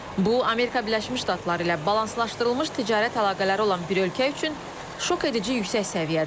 Bu Amerika Birləşmiş Ştatları ilə balanslaşdırılmış ticarət əlaqələri olan bir ölkə üçün şokedici yüksək səviyyədir.